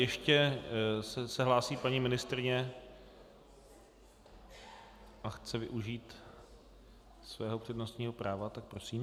Ještě se hlásí paní ministryně a chce využít svého přednostního práva, tak prosím.